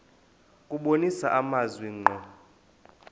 kubonisa amazwi ngqo